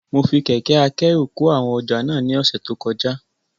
Mo fi kẹ̀kẹ́ akẹ́rù kó àwọn ọjà náà ní ọ̀sẹ̀ tó kọjá